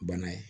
Bana ye